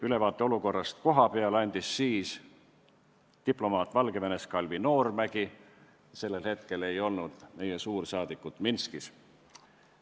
Ülevaate kohapealsest olukorrast andis Valgevenes viibiv diplomaat Kalvi Noormägi, sest sel hetkel ei olnud meie suursaadikut Minskis.